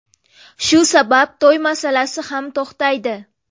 Shu sabab to‘y masalasi ham to‘xtaydi.